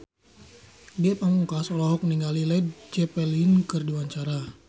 Ge Pamungkas olohok ningali Led Zeppelin keur diwawancara